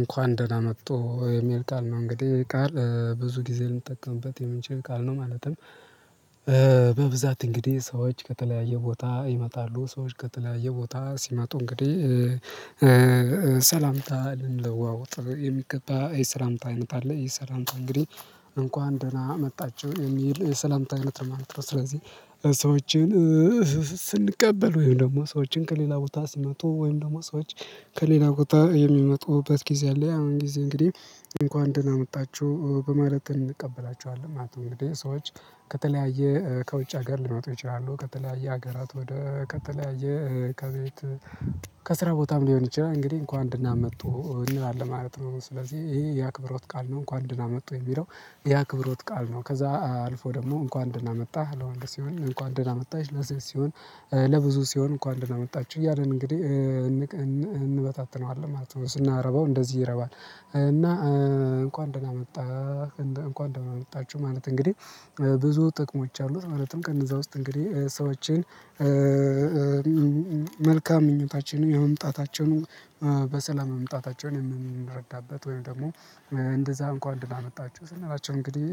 እንኳን ደህና መጥቶ የሚል ቃል ነው እንግዲህ ይህ ቃል ብዙ ጊዜ ልንጠቀምበት የምንችል ቃል ነው ማለትም። በብዛት እንግዲህ ሰዎች ከተለያየ ቦታ ይመጣሉ ሰዎች ከተለያየ ቦታ ሲመጡ እንግዲህ። ሰላምታ ልንለዋውጥ የሚገባ የሰላምታ አይነት አለ ይህ ሰላምታ እንግዲህ እንኳን ደህና መጣችሁ የሚል የሰላምታ አይነት ነው ማለት ነው። ር ስለዚህ ሰዎችን ስንቀበል ወይም ደግሞ ሰዎችን ከሌላ ቦታ ስመጡ ወይም ደግሞ ሰዎች ከሌላ ቦታ የሚመጡበት ጊዜ አለ ያው አሁን ጊዜ እንግዲህ እንኳን ደህና መጣችሁ በማለት እንቀበላቸወለን ማለት ነው። እንግዲህ ሰዎች ከተለያየ ከውጭ ሀገር ሊወጡ ይችላሉ ከተለያየ ሀገራት ወደ ከተለያየ ከቤት ከስራ ቦታም ሊሆን ይችላል እንግዲህ እንኳን ደና መጡ እንላለን ማለት ነው። ስለዚህ ይሄ የአክብሮት ቃል ነው። እንኳን ደና መጡ የምለው የአክብሮት ቃል ነው። ከዛ አልፎ ደግሞ እንኳን ደህና መጣህ ለወንድ ሲሆን እንኳን ደህና መጣሽ ለሴት ሲሆን ለብዙ ሲሆን እንኳን ደህና መጣችሁ እያልን እንግዲህ እንበታትነዋለን ማለት ነው። ስናረባው እንደዚህ ይረባል። እና እንኳን ደህና መጣህ እንኳን ደግሞ መጣችሁ ማለት እንግዲህ ብዙ ጥቅሞች አሉት። ማለትም ከነዘ ውስጥ እንግዲህ ሰዎችን መልካም ምኞታችንን የመምጣታቸውን በሰላም መምጣታቸውን የምንረዳበት ወይም ደግሞ እንደዛ እንኳን ደና መጣችሁ ስንላቸው እንግዲህ